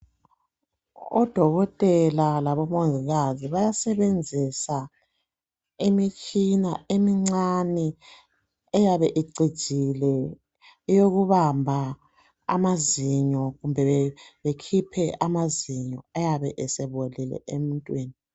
Odokotela labomongikazi bayasebenzisa imitshina emincane eyabe icijile eyokubamba amazinyo kumbe bekhiphe amazinyo ayabe esebolile emuntwini